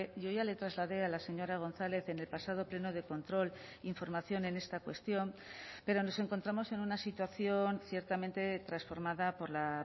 yo ya le trasladé a la señora gonzález en el pasado pleno de control información en esta cuestión pero nos encontramos en una situación ciertamente transformada por la